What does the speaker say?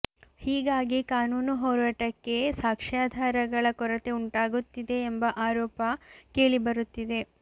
ಹೀಗಾಗಿ ಕಾನೂನು ಹೋರಾಟಕ್ಕೆ ಸಾಕ್ಷಾ್ಯಧಾರಗಳ ಕೊರತೆ ಉಂಟಾಗುತ್ತಿದೆ ಎಂಬ ಆರೋಪ ಕೇಳಿಬರುತ್ತಿದೆ